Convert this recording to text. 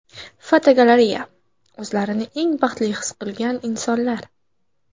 Fotogalereya: O‘zlarini eng baxtli his qilgan insonlar.